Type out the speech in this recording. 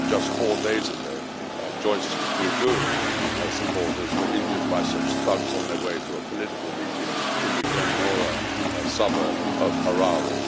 Just four days ago Joice Mujuru and her supporters were injured by such thugs on their way to a political meeting in the Glen Norah suburb of Harare.